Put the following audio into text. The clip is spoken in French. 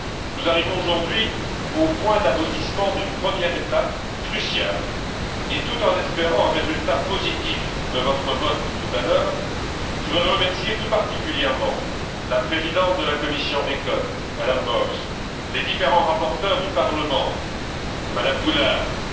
Nous arrivons aujourd'hui au point d'aboutissement d'une première étape cruciale et, tout en espérant un résultat positif de votre vote tout à l'heure, je voudrais remercier tout particulièrement la présidente de la commission ECON, Mme Bowles, les différents rapporteurs du Parlement, Mme Goulard, MM.